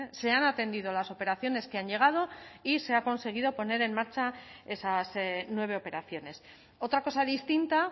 se han atendido las operaciones que han llegado y se ha conseguido poner en marcha esas nueve operaciones otra cosa distinta